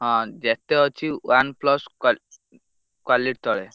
ହଁ ଯେତେ ଅଛି OnePlus quality ତଳେ।